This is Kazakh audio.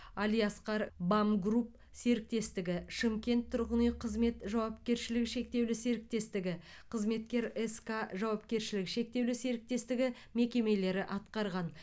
алиаскар бам групп серіктестігі шымкент тұрғын үй қызмет жауапкершілігі шектеулі серіктестігі қызметкер ск жауапкершілігі шектеулі серіктестігі мекемелері атқарған